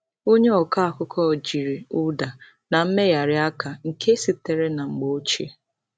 Onye ọkọ akụkọ jiri ụda na mmegharị aka nke sitere na mgbe ochie.